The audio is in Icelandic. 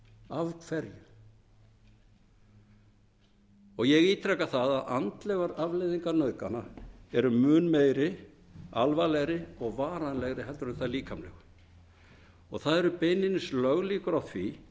prósent af hverju ég ítreka það að andlegar afleiðingar nauðgana eru mun meiri alvarlegri og varanlegri en þær líkamlegu það eru beinlínis löglíkur á því